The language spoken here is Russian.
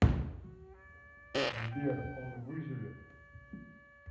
сбер он выживет